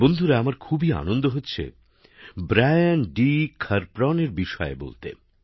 বন্ধুরা আমার খুবই আনন্দ হচ্ছে ব্রায়ানডিখারপ্রণের বিষয়ে বলতে